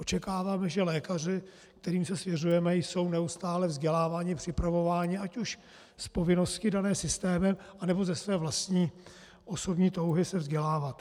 Očekáváme, že lékaři, kterým se svěřujeme, jsou neustále vzděláváni, připravováni, ať už z povinnosti dané systémem, nebo ze své vlastní osobní touhy se vzdělávat.